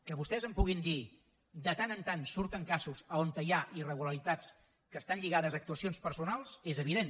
que vostès em puguin dir que de tant en tant surten casos on hi ha irregularitats que estan lligades a actuacions personals és evident